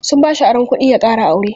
Sun bashi aron kuɗi ya ƙara aure.